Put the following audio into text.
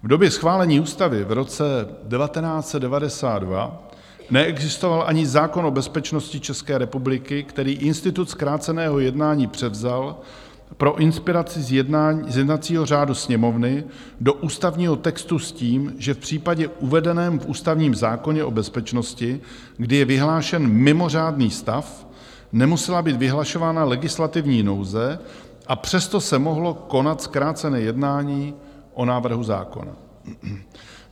V době schválení ústavy v roce 1992 neexistoval ani zákon o bezpečnosti České republiky, který institut zkráceného jednání převzal pro inspiraci z jednacího řádu Sněmovny do ústavního textu s tím, že v případě uvedeném v ústavním zákoně o bezpečnosti, kdy je vyhlášen mimořádný stav, nemusela být vyhlašována legislativní nouze, a přesto se mohlo konat zkrácené jednání o návrhu zákona.